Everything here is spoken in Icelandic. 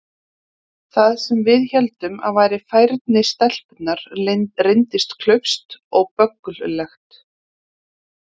Það sem við héldum að væri færni stelpunnar reyndist klaufskt og bögglulegt.